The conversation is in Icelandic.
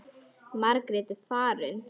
Margrét er farin.